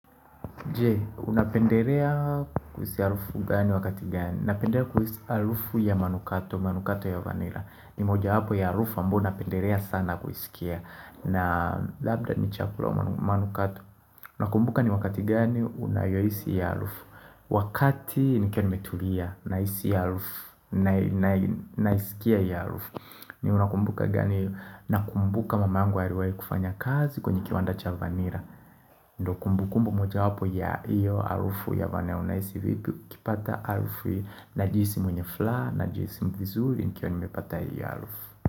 Je, unapendelea kuhisi harufu gani wakati gani? Napendelea kuhisi harufu ya manukato manukato ya vanila. Ni moja wapo ya harufu ambao napendelea sana kuisikia na labda ni chakula manukato Unakumbuka ni wakati gani unayohisi hiyo harufu Wakati nikiwa nimetulia, nahisi hiyo harufu naisikia hiyo harufu Unakumbuka gani, nakumbuka mamangu aliwahi kufanya kazi kwenye kiwanda cha vanila Ndio kumbukumbu moja wapo ya iyo harufu ya vanila. Unahisi vipi ukipata harufu Najihisi mwenye furuha, Najihisi mvizuri, nkiwa nimepata iyo harufu.